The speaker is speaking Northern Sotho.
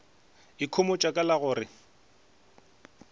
ikhomotša ka la go re